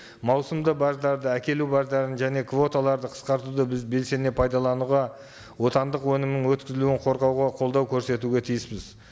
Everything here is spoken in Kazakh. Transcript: маусымды баждарды әкелу баждарын және квоталарды қысқартуды біз белсене пайдалануға отандық өнімін өткізілуін қорғауға қолдау көрсетуге тиіспіз